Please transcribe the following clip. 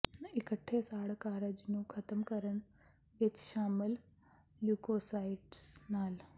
ਇਕੱਠੇ ਸਾੜ ਕਾਰਜ ਨੂੰ ਖ਼ਤਮ ਕਰਨ ਵਿਚ ਸ਼ਾਮਲ ਲਿਊਕੋਸਾਈਟਸ ਨਾਲ